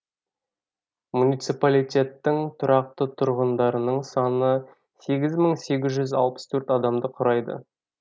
муниципалитеттің тұрақты тұрғындарының саны сегіз мың сегіз жүз алпыс төрт адамды құрайды